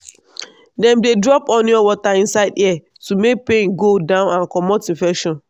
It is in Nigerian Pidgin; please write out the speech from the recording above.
dem dey drop onion water inside ear to make pain go down and comot infection.